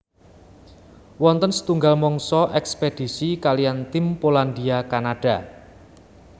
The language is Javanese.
Wonten setunggal mangsa ekspedisi kaliyan tim Polandia Kanada